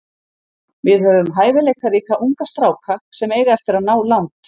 Við höfum hæfileikaríka unga stráka sem eiga eftir að ná langt.